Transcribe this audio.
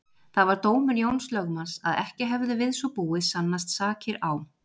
Það var dómur Jóns lögmanns að ekki hefðu við svo búið sannast sakir á